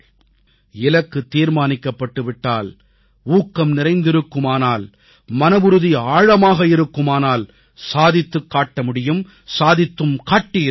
இலக்கு தீர்மானிக்கப்பட்டு விட்டால் ஊக்கம் நிறைந்திருக்குமானால் மனவுறுதி ஆழமாக இருக்குமானால் சாதித்துக் காட்ட முடியும் சாதித்தும் காட்டியிருக்கிறார்கள்